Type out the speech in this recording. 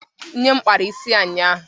nne m kpara isi ya ụnyahụ